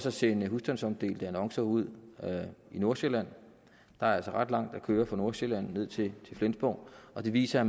at sende husstandsomdelte annoncer ud i nordsjælland der er altså ret langt at køre fra nordsjælland ned til flensborg og det viser at